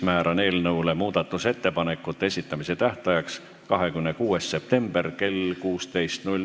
Määran muudatusettepanekute esitamise tähtajaks 26. septembri kell 16.